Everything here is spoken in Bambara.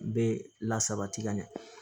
Bɛ la sabati ka ɲɛ